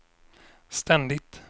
ständigt